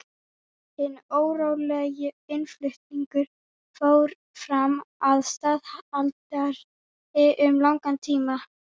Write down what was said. Hinn ólöglegi innflutningur fór fram að staðaldri um langan tíma.